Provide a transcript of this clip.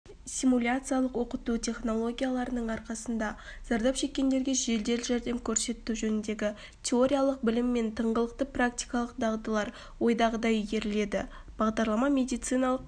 симуляциялық оқыту технологияларының арқасында зардап шеккендерге жедел жәрдем көрсету жөніндегі теориялық білім мен тыңғылықты практикалық дағдылар ойдағыдай игерілді бағдарлама медициналық